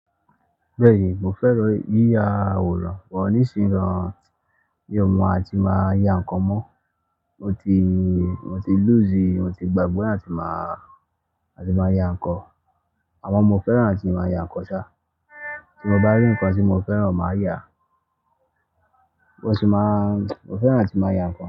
Bẹ́ẹ̀ni, mo fẹ́ràn yíya àwòrán pọ̀, nísìnyí gan-an mi ò mọ àti máa ya ǹkan mọ́. Mo ti, mo ti lọ́sẹ̀, mo ti gbàgbé àti máa, àti máa ya ǹkan. Àmọ́ mo fẹ́ràn àti máa ya ǹkan ṣá, tí mo bá rí ǹkan tí mo fẹ́ràn, màá yàá. Mo sì máa mo fẹ́ràn àti máa ya ǹkan.